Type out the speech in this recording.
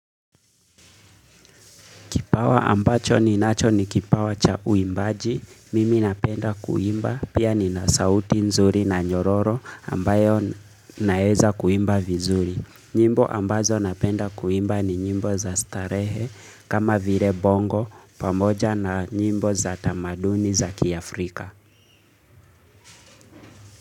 Kipawa ambacho ninacho ni kipawa cha uimbaji, mimi napenda kuimba, pia nina sauti nzuri na nyororo ambayo naweza kuimba vizuri. Nyimbo ambazo napenda kuimba ni nyimbo za starehe kama vire bongo pamoja na nyimbo za tamaduni za kiafrika.